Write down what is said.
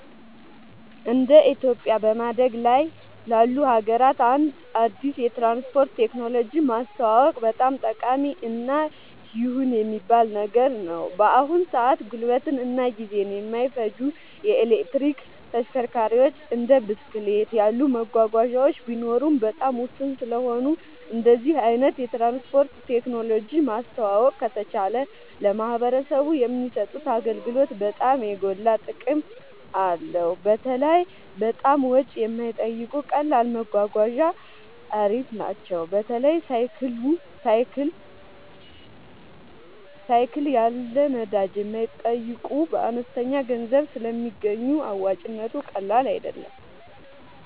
እንደ ኢትዮጵያ በማደግ ላይ ላሉ ሀገራት አንድ አዲስ የትራንስፖርት ቴክኖሎጂ ማስተዋወቅ በጣም ጠቃሚ እና ይሁን የሚባል ነገር ነው። በአሁን ሰአት ጉልበትን እና ጊዜን የማይፈጁ የኤሌክትሪክ ተሽከርካሪዎች እንደ ብስክሌት ያሉ መጓጓዣዎች ቢኖሩም በጣም ውስን ስለሆኑ እንደዚህ አይነት የትራንስፖርት ቴክኖሎጂ ማስተዋወቅ ከተቻለ ለማህበረሰቡ የሚሰጡት አገልግሎት በጣም የጎላ ጥቅም አለው። በተለይ በጣም ወጪ የማይጠይቁ ቀላል መጓጓዣ አሪፍ ናቸው። በተለይ ሳይክል ያሉ ነዳጅ የማይጠይቁ በአነስተኛ ገንዘብ ስለሚገኙ አዋጭነቱ ቀላል አይደለም